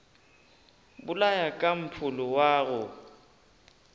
bolaya ka mpholo wa go